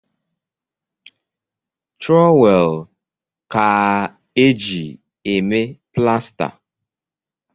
Trọwel kaa eji eme plasta